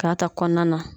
K'a ta kɔnɔna na